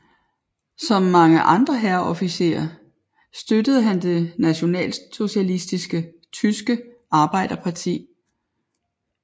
Som mange andre hærofficerer støttede han det Nationalsocialistiske Tyske Arbejderparti